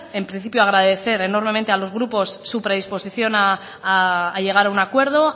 en principio agradecer enormemente a los grupos su predisposición a llegar a un acuerdo